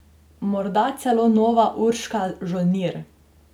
Morda celo nova Urška Žolnir!